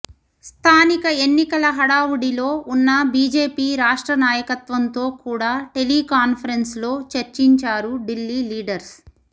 స్థానిక ఎన్నికల హడావుడిలో ఉన్న బీజేపీ రాష్ట్ర నాయకత్వంతో కూడా టెలి కాన్ఫరెన్స్ లో చర్చించారు ఢిల్లీ లీడర్స్